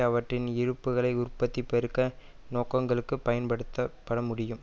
அவற்றின் இருப்புக்களை உற்பத்தி பெருக்க நோக்கங்களுக்கு பயன்படுத்தப்பட முடியும்